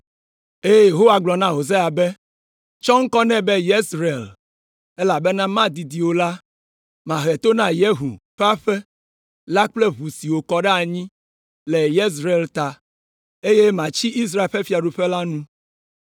Eye Yehowa gblɔ na Hosea be, “Tsɔ ŋkɔ nɛ be Yezreel, elabena madidi o la, mahe to na Yehu ƒe aƒe la le ʋu si wokɔ ɖe anyi le Yezreel ta, eye matsi Israel ƒe fiaɖuƒe la nu.